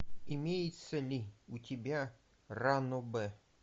имеется ли у тебя ранобэ